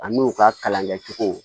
An n'u ka kalan kɛcogo